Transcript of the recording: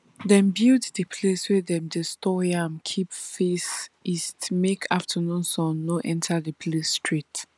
dem build de place wey dem dey store yam keep face east make afternoon sun no enter de place straight